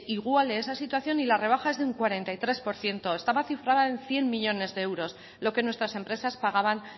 iguale esa situación y la rebaja es de un cuarenta y tres por ciento estaba cifrada en cien millónes de euros lo que nuestras empresas pagaban